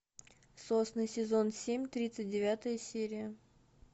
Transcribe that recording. сосны сезон семь тридцать девятая серия